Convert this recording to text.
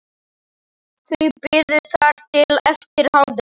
Þau biðu þar til eftir hádegi.